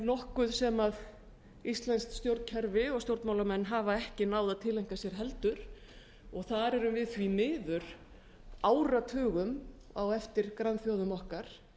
nokkuð sem íslenskt stjórnkerfi og stjórnmálamenn hafa ekki náð að tileinka sér heldur þar erum við því miður áratugum á eftir grannþjóðum okkar